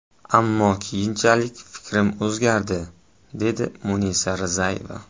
Ammo keyinchalik fikrim o‘zgardi”, dedi Munisa Rizayeva.